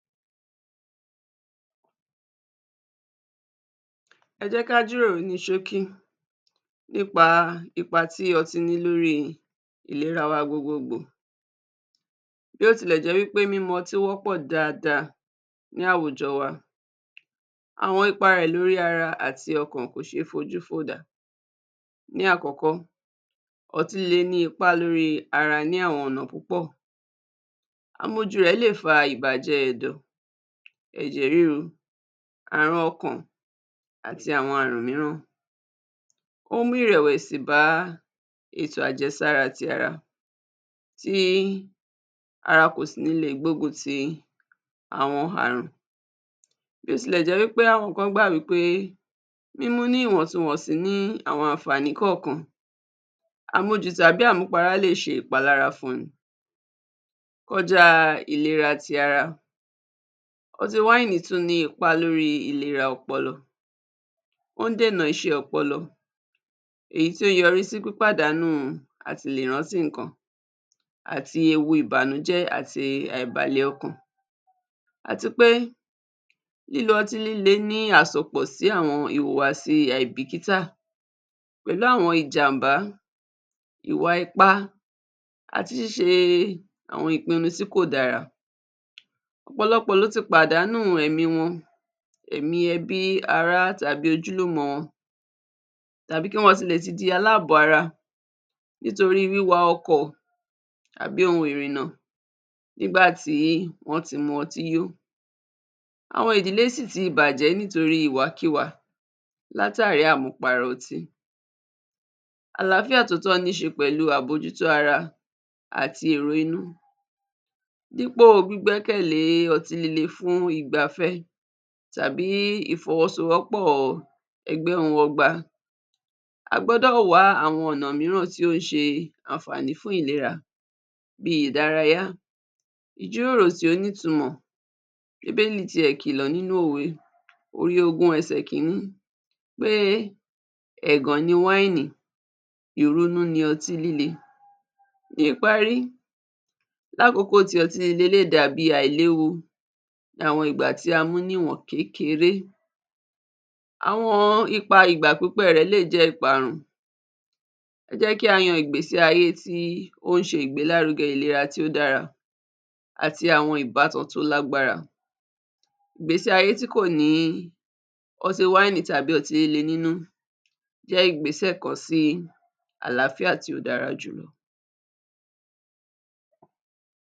Ẹ jẹ́ ká jíròrò ní ṣókí nípa ipa tí ọtí ní lórí ìlẹra wa gbogbo gbò, bí ó tilẹ̀ jẹ́ pé mímu ọtí wọ́pọ̀ dáada ní àwùjọ wa, àwọn ipa rẹ̀ lórí ara àti ọkàn kò ṣé fojú fò dànù. Ní àkọ́kọ́, ọtí líle ní ipá lórí ara ní àwọn ọ̀nà púpọ̀ àmujù rẹ̀ lè fa ìbàjẹ́ ẹ̀dọ̀, ẹ̀jẹ̀ ríru, àrùn ọkàn, àti àwọn àrùn míràn. Ó ń mú ìrẹ̀wẹ̀sì bá ètò àjẹsára ti ara tí ara kò sì ní le gbógun ti àwọn àrùn. Bí ó tilẹ̀ jẹ́ wípé àwọn kan gbà wípé mímu ní ìwọ̀ntunwọ̀nsí ní àwọn ànfàní kọ̀kan, àmujù tàbí àmupara lè ṣe ìpalára fún ni kọjá tí ìlera ti ara. Ọtí wáìnì tún ní ipá lórí ìlera ti ọpọlọ, ó ń dènà iṣẹ́ ti ọpọlọ èyí tí ó ń yọrí sí pípàdánù àti lè rántí nǹkan, àti ewu ìbànújẹ́ àti àìbalẹ̀ ọkàn. Àti pé lílo ọtí líle ní àsopọ̀ sí àwọn ìwùwàsí àìbìkítà pẹ̀lú àwọn ìwà ìjàmbá, ìwà ipá àti ṣíṣe àwọn ìpinu tí kò dára. Ọ̀pọ̀lọpọ̀ ló ti pàdánù ẹ̀mí wọn, ẹ̀mí ẹbí ará tàbí ojúlùmọ̀ wọn, tàbí kí wọ́n tilẹ̀ ti di àlábọ̀ ara, nítorí wíwa ọkọ̀ tàbí ohun ìrìnnà nígbà tí wọ́n ti mu ọtí yó. Àwọn ìdílé sì ti bàjẹ́ nítorí ìwàkiwà látàrí àmupara ọtí. Àláfíà tòótó ní ṣe pẹ̀lú àbójútó ara àti èrò inú dípò gbígbẹ̀kẹ̀lé otí líle fún ìgbafẹ́ tàbí ìfọwọ́sowọ́pọ̀ ẹgbẹ́ ń wọgba. A gbọ́dọ̀ wá àwọn ọ̀nà míì tí ó ń ṣe ànfàní fún ìlera bí ìdárayá, ìjíròrò tí ó nítunmọ̀, bíbélì ti ẹ̀ kìlọ̀ nínú òwe orí ogún ẹsẹ kíní pé ẹ̀gàn ni wáìnì ìrunú ni ọtí líle. Níparí, lákòkò tí ọtí líle lè dàbí àìléwu làwọn ìgbà tí a mú ní ìwọ̀n kékeré, àwọn ipa ìgbà pípẹ́ rẹ̀ lé jẹ́ ìparun. Ẹ jẹ́ kí á yan ìgbésí ayé tí ó ṣe ìgbélárugẹ ìlera tí ó dára àti àwọn ìbátan tí ó lágbára, ìgbésí ayé tí kò ní ọtí wáìnì tàbí ọtí líle nínú jẹ́ ìgbésẹ̀ kàn sí àláfíà tí ó dára jù lọ.